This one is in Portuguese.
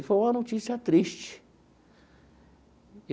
E foi uma notícia triste.